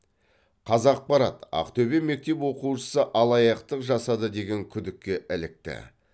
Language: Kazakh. қазақпарат ақтөбе мектеп оқушысы алаяқтық жасады деген күдікке ілікті